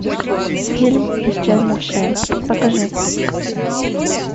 фильм исчезнувшая покажи